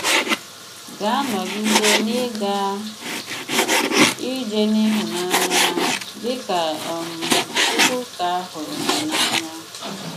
Gà-anọgide n’ị́gà ije n’ịhụ̀nanya, dị kà um Chukwuka hụrụ gị n’anya.